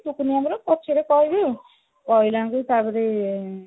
ପଛରେ କହିବି ଆଉ ତାପରୁ